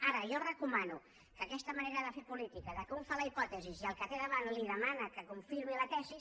ara jo recomano que aquesta manera de fer política que un fa la hipòtesi i al que té davant li demana que confirmi la tesi